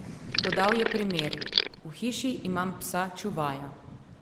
Podal je primer: "V hiši imam psa čuvaja.